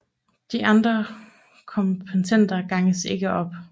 De andre komponenter ganges ikke op